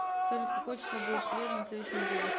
салют какое число будет в среду на следующей неделе